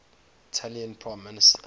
italian prime minister